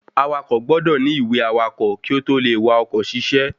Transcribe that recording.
Awakọ̀ gbọ́dọ̀ ní ìwé awakọ̀ kí ó tó le wa oko ṣiṣẹ́